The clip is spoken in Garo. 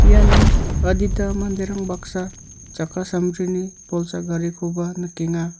iano adita manderang baksa chakka sambrini bolsa garikoba nikenga.